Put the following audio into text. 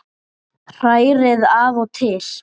Hrærið af og til.